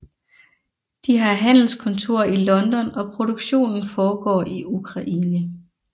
De har handelskontor i London og produktionen foregår i Ukraine